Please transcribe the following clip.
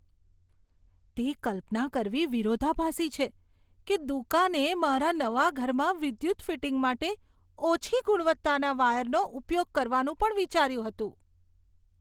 તે કલ્પના કરવી વિરોધાભાસી છે કે દુકાને મારા નવા ઘરમાં વિદ્યુત ફિટિંગ માટે ઓછી ગુણવત્તાના વાયરનો ઉપયોગ કરવાનું પણ વિચાર્યું હતું.